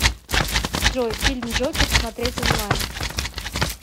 джой фильм джокер смотреть онлайн